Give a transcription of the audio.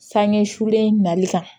Sanɲɛ sulen nali kan